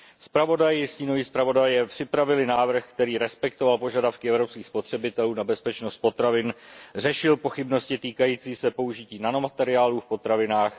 Zpravodaj i stínoví zpravodajové připravili návrh, který respektoval požadavky evropských spotřebitelů na bezpečnost potravin, řešil pochybnosti týkající se použití nanomateriálů v potravinách.